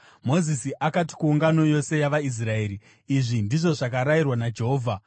Mozisi akati kuungano yose yavaIsraeri, “Izvi ndizvo zvakarayirwa naJehovha: